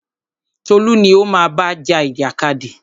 Tolú ni o má bá ja ìjàkadì!